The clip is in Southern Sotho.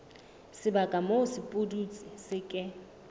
sebaka moo sepudutsi se ke